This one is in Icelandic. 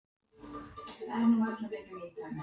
Voney, hvað er lengi opið í Nova?